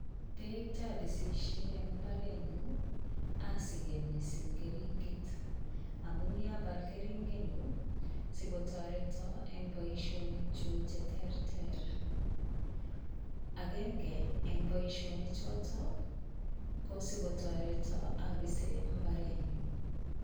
Peek che apisishe eng' mbarenyu asike missing' keringet. Amun yache apal keringenyun i, si kotareta eng' poishonik chuk che terter. Agenge eng' poishonichotok ko si kotareta apise mbarenyun.